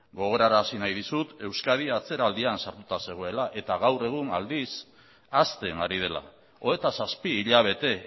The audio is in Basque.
gogorarazi nahi dizut euskadi atzeraldian sartuta zegoela eta gaur egun aldiz hasten ari dela hogeita zazpi hilabete